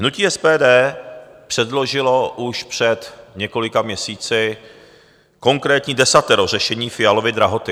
Hnutí SPD předložilo už před několika měsíci konkrétní desatero řešení Fialovy drahoty.